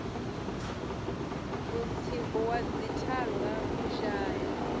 mutsiko wa dzithanga u shaya